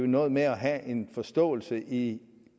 noget med at have en forståelse i